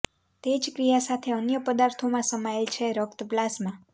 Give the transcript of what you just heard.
તે જ ક્રિયા સાથે અન્ય પદાર્થો માં સમાયેલ છે રક્ત પ્લાઝ્મા